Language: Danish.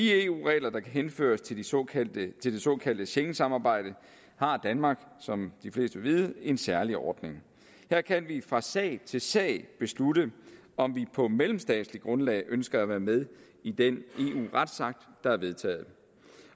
eu regler der henføres til det såkaldte det såkaldte schengensamarbejde har danmark som de fleste vil vide en særlig ordning her kan vi fra sag til sag beslutte om vi på mellemstatsligt grundlag ønsker at være med i den eu retsakt der er vedtaget